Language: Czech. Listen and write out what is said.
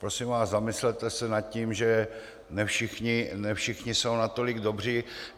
Prosím vás, zamyslete se nad tím, že ne všichni jsou natolik dobří.